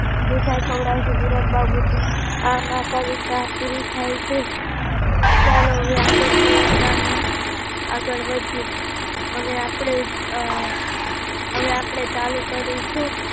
મીઠાઈ ખવડાવશું, વિરાટ બાબુ છે, આમ આ કવિતા પૂરિ થાય છે ચાલો હવે કવિતા માં આગળ વધીએ હવે અપડે અમ હવે અપડે ચાલુ કરીશું